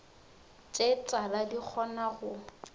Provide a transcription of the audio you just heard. tše tala di kgona go